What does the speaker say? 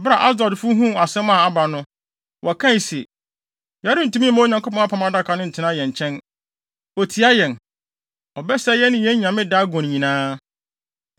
Bere a Asdodfo huu asɛm a aba no, wɔkae se, “Yɛrentumi mma Onyankopɔn Apam Adaka no ntena yɛn nkyɛn. Otia yɛn! Ɔbɛsɛe yɛn ne yɛn nyame, Dagon nyinaa.”